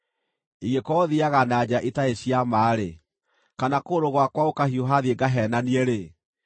“Ingĩkorwo thiiaga na njĩra itarĩ cia ma-rĩ, kana kũgũrũ gwakwa gũkahiũha thiĩ ngaheenanie-rĩ,